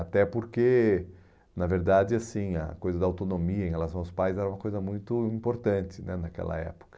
Até porque, na verdade, assim a coisa da autonomia em relação aos pais era uma coisa muito importante né naquela época.